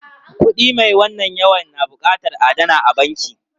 Kuɗi mai wannan yawan na buƙatar a adana a banki.